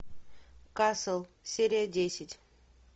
касл серия десять